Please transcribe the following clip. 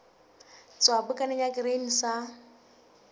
tswa bukaneng ya grain sa